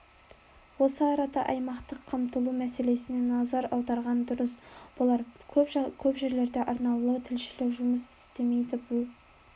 осы арада аймақтық қамтылу мәселесіне назар аударған дұрыс болар көп жерлерде арнаулы тілшілер жұмыс істемейді бұл